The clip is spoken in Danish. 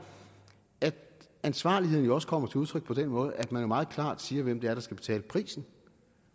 at ansvarligheden jo også kommer til udtryk på den måde at man meget klart siger hvem det er der skal betale prisen